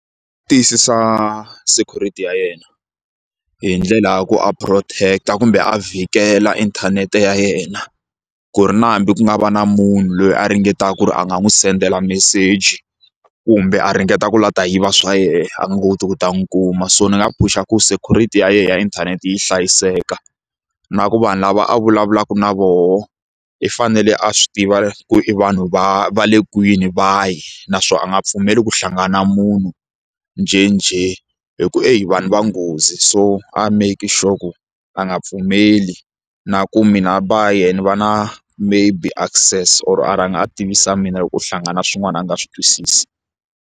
Tiyisisa security ya yena hi ndlela ya ku a protect kumbe a vhikela inthanete ya yena ku ri na hambi ku nga va na munhu loyi a ringetaka ku ri a nga n'wi sendela meseji kumbe a ringeta ku la ta yiva swa yena a nga koti ku ta n'wi kuma so ni nga phusha ku security ya yena ya inthanete yi hlayiseka na ku vanhu lava a vulavulaka na voho i fanele a swi tiva ku i vanhu va va le kwini vahi naswona a nga pfumeli ku hlangana na munhu njhenjhe hi ku heyi vanhu va nghozi so a make sure a nga pfumeli na ku mehe a ba yena ni va na maybe access or a rhanga a tivisa mina loko u hlangana na swin'wana a nga swi twisisi.